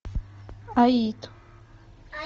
аид